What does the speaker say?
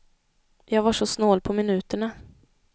Jag var så snål på minuterna.